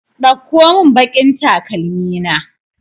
Ɗauko mun baƙin takalmi na!